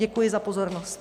Děkuji za pozornost.